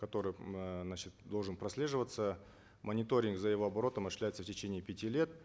который м э значит должен прослеживаться мониторинг за его оборотом осуществляется в течение пяти лет